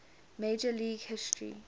major league history